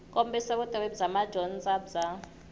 kombisa vutivi bya madyondza bya